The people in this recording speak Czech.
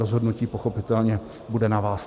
Rozhodnutí pochopitelně bude na vás.